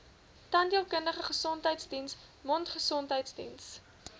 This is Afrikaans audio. tandheelkundige gesondheidsdiens mondgesondheidsdiens